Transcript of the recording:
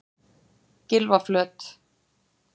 Gylfaflöt